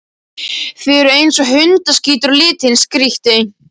Þið eruð eins og hundaskítur á litinn, skríkti